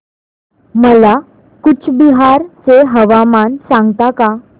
मला कूचबिहार चे हवामान सांगता का